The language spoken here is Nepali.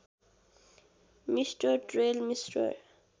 mister Trail mister